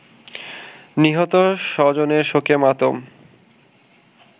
নিহত স্বজনের শোকে মাতম